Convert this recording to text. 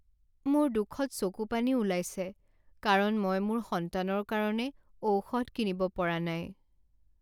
মোৰ দুখত চকুপানী ওলাইছে কাৰণ মই মোৰ সন্তানৰ কাৰণে ঔষধ কিনিব পৰা নাই।